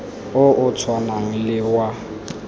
o o tshwanang le wa